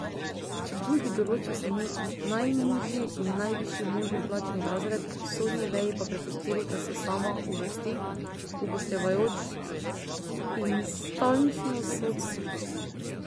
Čebulj bi določil samo najnižji in najvišji možni plačni razred, sodni veji pa prepustil, da se sama uvrsti, upoštevajoč instančnost sodstva.